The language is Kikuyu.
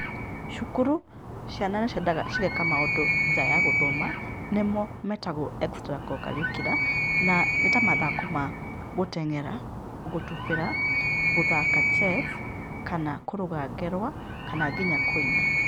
Cukuru, ciana nĩciendaga cigeka maũndũ nja ya gũthoma nĩmo metagwo extra co-curricular na nĩ ta mathako ma, gũteng'era, gũtubĩra, gũthaka chess, kana kũrũga ngerwa, kana nginya kũina.